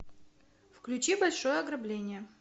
включи большое ограбление